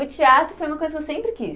O teatro foi uma coisa que eu sempre quis.